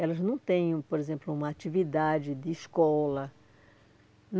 Elas não têm um, por exemplo, uma atividade de escola.